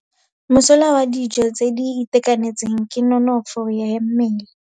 Mosola wa dijô tse di itekanetseng ke nonôfô ya mmele.